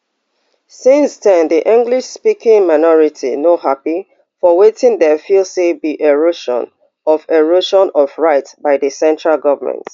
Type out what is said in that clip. since den di englishspeaking minority no happy for wetin dem feel say be erosion of erosion of rights by di central government